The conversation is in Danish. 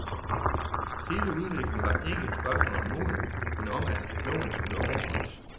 Hele udviklingen var ikke et spørgsmål om mod, men om at loven skulle overholdes.